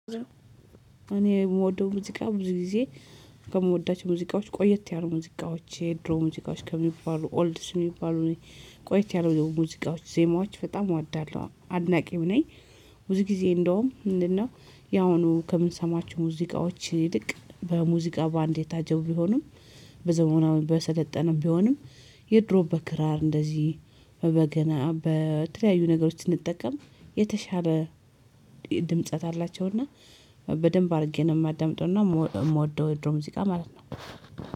እኔ የምወደው ሙዚቃ ብዙ ጊዜ ከምወዳቸው ሙዚቃዎች ቆየት ያሉ ሙዚቃዎች የድሮ ሙዚቃዎች ከሚባሉ ኦልድስ የሚባሉ ቆየት ያሉ የሆነ ሙዚቃዎች ዜማዎች በጣም እወዳለሁ፤ አድናቂው ነኝ ብዙ ጊዜ እንደውም ምንድነው ያው አሁኑ ከምንሰማችሁ ሙዚቃዎች ይልቅ በሙዚቃ ባንድ የታጀው ቢሆንም በዘመናዊ በሰለጠነም ቢሆንም የድሮ በክራር እንደዚህ በበገና በተለያዩ ነገሮች ስንጠቀም የተሻለ ድምጸት አላቸውና በደንብ አድርጌ ነው የማዳምጠውና የምወደው የድሮ ሙዚቃ ማለት ነው።